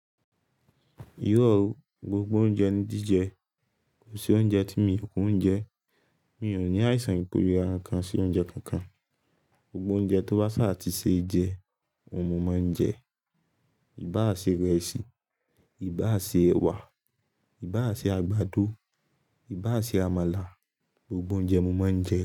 Iro ọ̀, gbogbo oúnjẹ ni jìjẹ, kò sí oúnjẹ tí mi kò ń jẹ. Mi ò ní àìsàn ìpèlé ara kan sí oúnjẹ kankan. Gbogbo oúnjẹ tó bá ṣààtì ṣe jẹ, mo máa ń jẹ. Ìbá à ṣe ìrẹsì, ìbá à ṣe ẹwà, ìbá à ṣe àgbàdo, ìbá à ṣe àmàlà, gbogbo oúnjẹ mo máa ń jẹ.